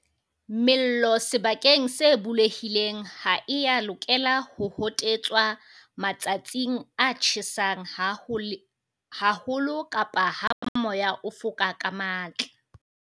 Mello sebakeng se bulehileng ha e ya lokela ho hotetswa matsatsing a tjhesang haho lo kapa ha moya o foka ka matla.